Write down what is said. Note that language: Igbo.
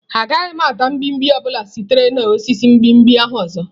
Agaghị m ata mgbimgbi ọ bụla sitere na osisi mgbimgbi ahụ ọzọ.